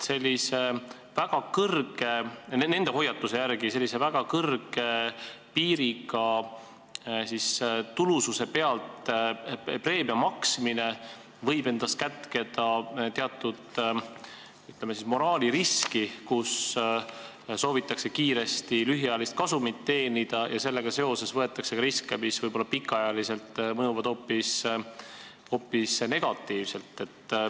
Nende hoiatuse järgi võib väga kõrge piiriga tulususe pealt preemia maksmine kätkeda endas teatud, ütleme, moraaliriski, kui soovitakse kiiresti lühiajalist kasumit teenida ja seetõttu võetakse riske, mis võib-olla pikaajaliselt mõjuvad hoopis negatiivselt.